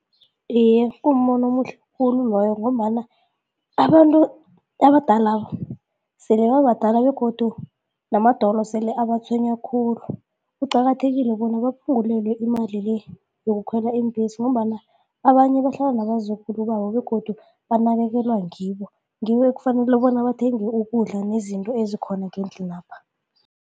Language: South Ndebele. Iye, kumbono omuhle khulu loyo ngombana abantu abadala sele babadala begodu namadolo sele abatshwenya khulu, kuqakathekile bona baphungulelwe imali le yokukhwela iimbhesi ngombana abanye bahlala nabazukulu babo begodu banakekelwa ngibo. Ngibo ekufanele bona bathenge ukudla nezinto ezikhona ngendlinapha.